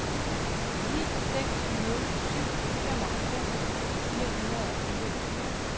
ni seks nul syv femoghalvfems fire hundrede og fireogtyve